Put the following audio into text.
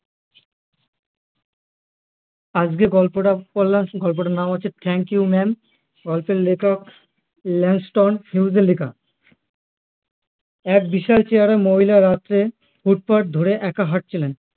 আজকে গল্পটা পড়লাম সেই গল্পটার নাম হচ্ছে thank you mam গল্পের লেখক লেংস্টন হিউজ এর লেখা এক বিশাল চেহারার মহিলা রাত্রে ফুটপাথ ধরে একা হাঁটছিলেন